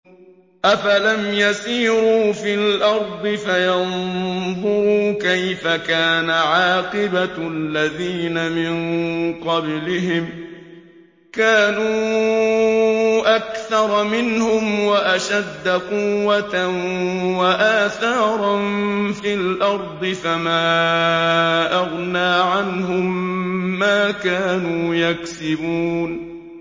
أَفَلَمْ يَسِيرُوا فِي الْأَرْضِ فَيَنظُرُوا كَيْفَ كَانَ عَاقِبَةُ الَّذِينَ مِن قَبْلِهِمْ ۚ كَانُوا أَكْثَرَ مِنْهُمْ وَأَشَدَّ قُوَّةً وَآثَارًا فِي الْأَرْضِ فَمَا أَغْنَىٰ عَنْهُم مَّا كَانُوا يَكْسِبُونَ